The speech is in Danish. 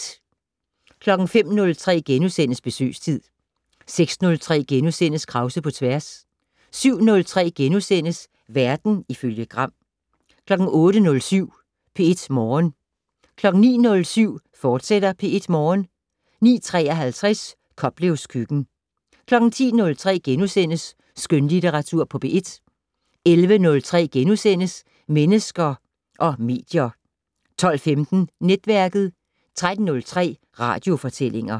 05:03: Besøgstid * 06:03: Krause på tværs * 07:03: Verden ifølge Gram * 08:07: P1 Morgen 09:07: P1 Morgen, fortsat 09:53: Koplevs køkken 10:03: Skønlitteratur på P1 * 11:03: Mennesker og medier * 12:15: Netværket 13:03: Radiofortællinger